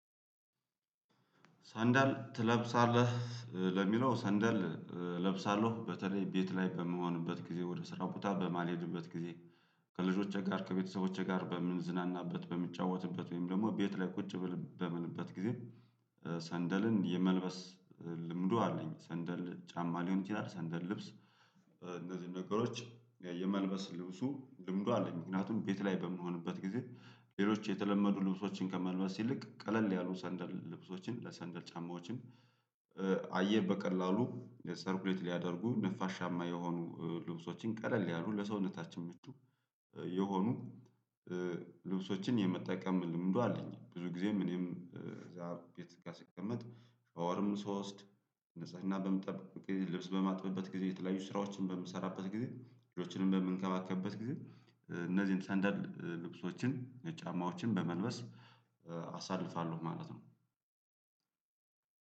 ሰንደል ትለብሳለህ? ለሚለው ሰንደል እለብሳለሁ በተለይ ቤት ላይ በምሆንበት ጊዜ ወደ ስራው ቦታ በማልሄድበት ጊዜ። ከልጆቼ ጋር ከቤተሰቦቼ ጋር በምንዝናናበት በምጫወትበት ወይም ደግሞ ቤት ላይ ቁጭ በምልበት ጊዜ። ሰንደልን የመልበስ ልምዱ አለኝ ሰንደል ጫማ ሊሆን ይችላል ሰንደል ልብስ። እነዚህን ነገሮች የመልበስ ልብሱ ልምዱ አለኝ። ምክንያቱም ቤት ላይ በምንሆንበት ጊዜ ሌሎች የተለመዱ ልብሶችን ከመልበስ ይልቅ ቀለል ያሉ ሰንደል ልብሶችን ሰየንደል ጫማዎችን። አየር በቀላሉ ሰርኩሌት ሊያደርጉ ነፋሻማ የሆኑ ልብሶችን ቀለል ያሉ ለሰውነታችን ምቹ የሆኑ ልብሶችን የመጠቀም ልምዱ አለኝ። ብዙ ጊዜም እኔም እዛ ቤት ጋር ስቀመጥ ሻወርም ስወስድ ንጽህና በምንጠብቅ ልብስ በማጥበበት ጊዜ የተለያዩ ስራዎችን በምሰራበት ጊዜ ሌሎችንም በምንከባከብበት ጊዜ እነዚህን ሰንደል ልብሶችን ጫማዎችን በመልበስ አሳልፋለሁ። ማለት ነው።